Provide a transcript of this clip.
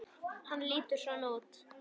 Hann lítur svona út